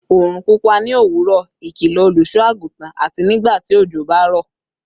orun pupa ni owuro, ikilo oluso-agutan," ati "Nigbati ojo ba ro